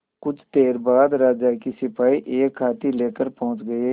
कुछ देर बाद राजा के सिपाही एक हाथी लेकर पहुंच गए